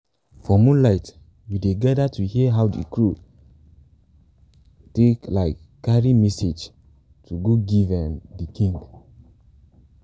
for moonlight we dey gather to hear how de crow take um carry messages like go give um de king